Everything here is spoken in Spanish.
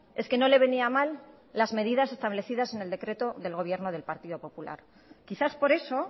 es que no le venía mal las medidas establecidas en el decreto del gobierno del partido popular quizás por eso